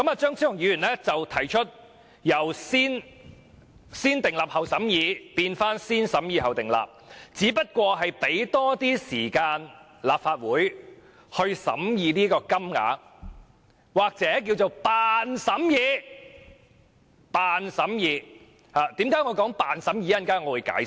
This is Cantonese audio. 張超雄議員提出，由"先訂立後審議"，變回"先審議後訂立"，只是想讓立法會有多些時間審議有關金額，或者是"扮"審議，為甚麼我說"扮"審議，稍後我會解釋。